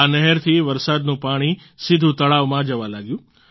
આ નહેરથી વરસાદનું પાણી સીધું તળાવમાં જવા લાગ્યું